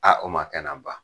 o ma kɛ na ban.